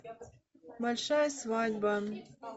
большая свадьба